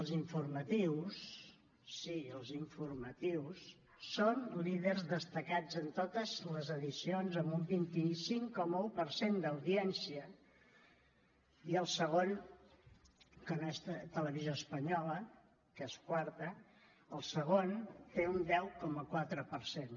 els informatius sí els informatius són líders destacats en totes les edicions amb un vint cinc coma un per cent d’audiència i el segon que no és televisió espanyola que és quarta té un deu coma quatre per cent